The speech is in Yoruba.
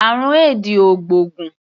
Àrùn éèdì ò gbóògùn.